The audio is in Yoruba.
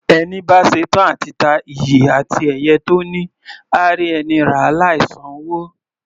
Ẹni bá ṣetán à ti ta iyì àti ẹ̀yẹ tó ní, á rí ẹni ràá láì san'wó.